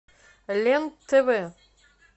лен тв